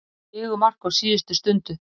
Sigurmark á síðustu stundu